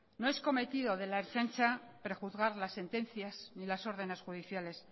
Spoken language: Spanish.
no es cometido de la ertzaintza prejuzgar las sentencias ni las órdenes judiciales